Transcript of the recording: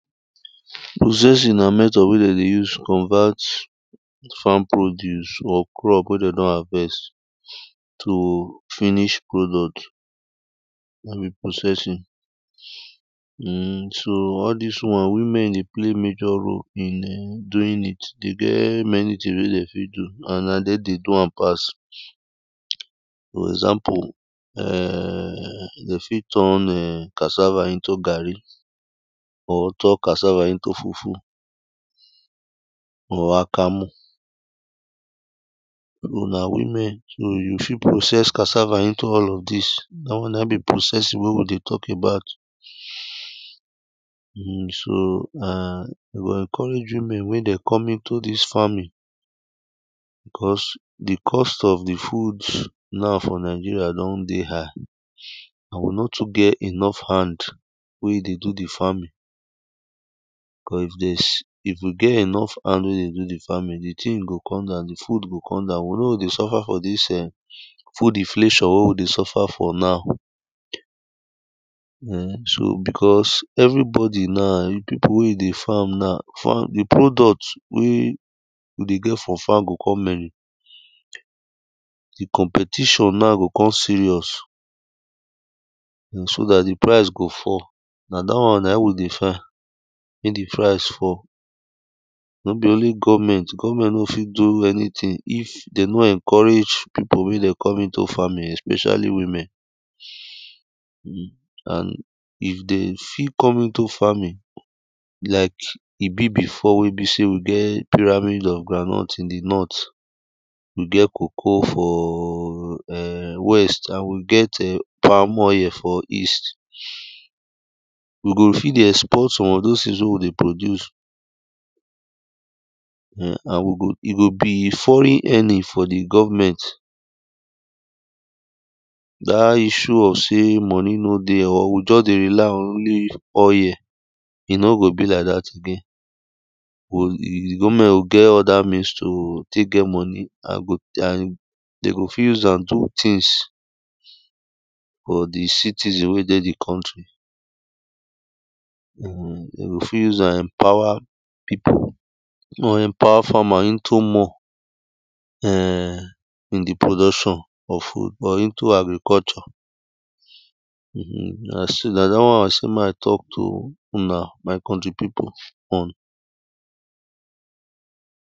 processing na method wey dey use convert farm produce or crop wey de don harvest to finish product wey be processing um so all this one, women dey play major role in um doing it. E dey get many tin wey de fit do, and na dem do am pass For example um dey fit turn um cassava into garri or turn cassava into fufu pause or akamu una women. So you fit process cassava into all of this. That one na be processing wey we dey talk about um so na, we go encourage women wey dem come into this farming because the cost of the food now for nigeria don dey high and we nor too get enough hand wey dey do the farming cause if this, if we get enough hand wey dey do the farming, the tin go come down, the food go come down. We nor go dey suffer for this um food inflation wey we dey suffer for now um so because everybody na, people wey e dey farm na, farm, the product wey we dey get for farm go ko many. The competition na go ko serious um so that the price go fall. Na that one nae we dey find, may the price fall Nor be only govment. Govment nor go fit do anything if de nor encourage people may de come into farming especially women um And if dey fit come into farming like e be before wey be sey we get pyramid of groundnut in the north We get cocoa for um west and we get palm oil for East We go fit dey export some of those tins wey we dey produce um and we go, e go be foreign earning for the govment That issue of sey money nor dey or we just dey rely on only oil E nor go be like that again. We o, govment go get other means to take get money and we go and de go fit use am do tins for the citizen wey dey the country We go fit use empower people mo we empower farmer into more um in the production of food or into agriculture um na sey na that one i sey may i talk to una my country people on